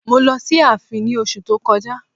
Mo lọ sí ààfin ní oṣu tí ó kọjá.